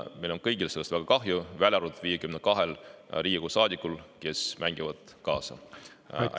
Meil on kõigil sellest väga kahju, välja arvatud 52 Riigikogu saadikul, kes mängivad kaasa.